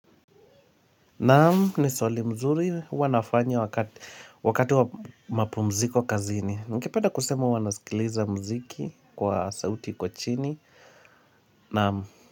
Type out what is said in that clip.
Naam ni swali mzuri huwa nafanya wakati wa mapumziko kazini Ningependa kusema huwa nasikiliza mziki kwa sauti kwa chini Naam.